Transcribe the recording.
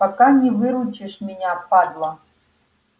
пока не выручишь меня падла